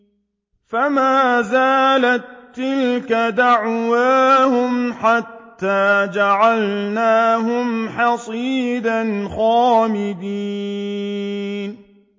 فَمَا زَالَت تِّلْكَ دَعْوَاهُمْ حَتَّىٰ جَعَلْنَاهُمْ حَصِيدًا خَامِدِينَ